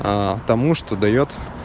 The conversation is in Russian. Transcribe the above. потому что даёт